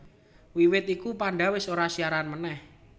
Wiwit iku Panda wis ora siaran meneh